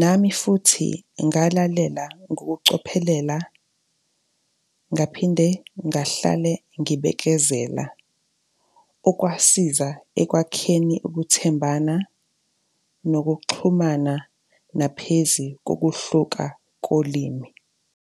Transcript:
Nami futhi ngalalela ngokucophelela, ngaphinde ngahlale ngibekezela, okwasiza ekwakheni ukuthembana, nokuxhumana naphezi kokuhluka kolimi.